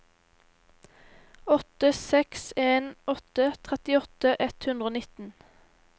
åtte seks en åtte trettiåtte ett hundre og nitten